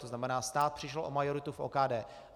To znamená, stát přišel o majoritu v OKD.